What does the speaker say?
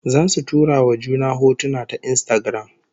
Zasu tura wa juna hotuna ta Instagram